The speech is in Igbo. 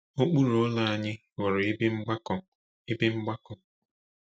Okpuru ụlọ anyị ghọrọ ebe mgbakọ. ebe mgbakọ.